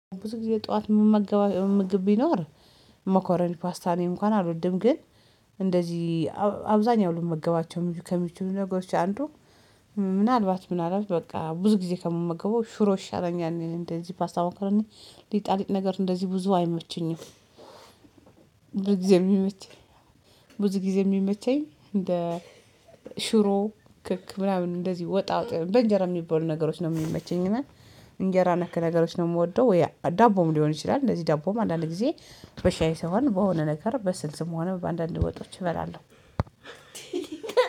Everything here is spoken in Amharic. ብዙ ጊዜ ጠዋት እምመገበው ምግብ ቢኖር መኮረኒ ፓስታ እንኳን አልወድም። ግን እንደዚህ አብዛኛው ልመገባቸው ከሚችሉ ነገሮች አንዱ። ምናልባት ምናልባት በቃ ብዙ ጊዜ ከምመገበው ሽሮ ይሻለኛል እንደዚህ ፓስታ መኮረኒ ሊጣሊጥ ነገር እንደዚህ ብዙ አይመችኝም። ብዙ ጊዜ የሚመቸኝ ብዙ ጊዜ የሚመቸኝ እንደ ሽሮ ክክ ምናምን እንደዚህ ወጣ ወጣ በእንጀራ የሚባሉ ነገሮች ነው የሚመቸኝ። እና እንጀራ ነክ ነገሮች ነው የምወደው። ወይ ዳቦም ሊሆን ይችላል እንደዚህ ዳቦም አንዳንድ ጊዜ በሻይ ሳይሆን በሆነ ነገር በስልስም ሆነ በአንዳንድ ወጦች እበላለሁ።